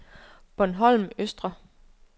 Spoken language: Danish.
Bornholm Østre